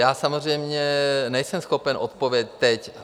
Já samozřejmě nejsem schopen odpovědět teď.